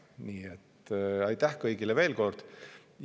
Nii et aitäh kõigile veel kord!